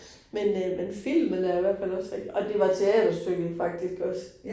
Men øh men filmen er i hvert fald også rigtig, og det var teaterstykket faktisk også